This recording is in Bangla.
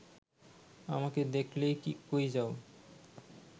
আমাকে দেখলে কী কই যাও